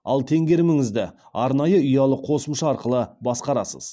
ал теңгеріміңізді арнайы ұялы қосымша арқылы басқарасыз